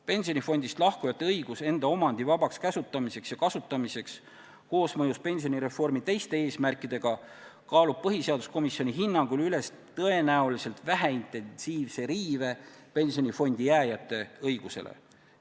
Pensionifondist lahkujate õigus enda omandi vabaks käsutamiseks ja kasutamiseks koosmõjus pensionireformi teiste eesmärkidega kaalub põhiseaduskomisjoni hinnangul üles tõenäoliselt väheintensiivse riive pensionifondi jääjate õigusele.